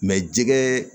jɛgɛ